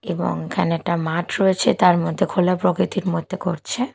এবং এখানে একটা মাঠ রয়েছে তার মধ্যে খোলা প্রকৃতির মধ্যে করছে।